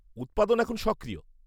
উৎপাদন এখন সক্রিয়।